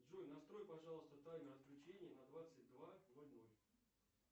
джой настрой пожалуйста таймер отключения на двадцать два ноль ноль